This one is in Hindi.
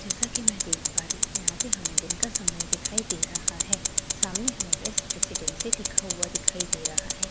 जैसा कि मैं देख पा रही हूं यहां पे हमें दिन का समय दिखाई दे रहा है सामने हमें बेस्ट रेसिडेंसी लिखा हुआ दिखाई दे रहा है।